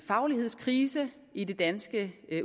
faglighedskrise i det danske